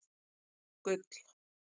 Gull